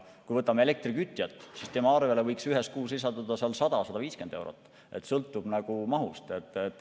Kui võtame elektriga kütja, siis tema arvele võiks ühes kuus lisanduda 100–150 eurot, sõltub mahust.